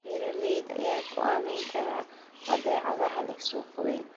Beeralayda ayaa go'aamin kara badeecadaha leh suuq weyn.